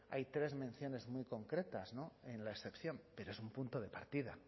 hay tres menciones muy concretas en la excepción pero es un punto de partida